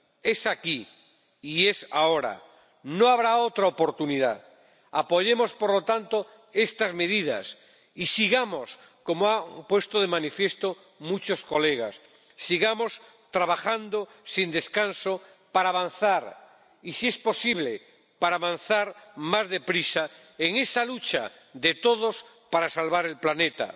Es aquí y es ahora, no habrá otra oportunidad. Apoyemos, por lo tanto, estas medidas y sigamos, como han puesto de manifiesto muchos colegas, sigamos trabajando sin descanso para avanzar y, si es posible, para avanzar más deprisa en esa lucha de todos para salvar el planeta.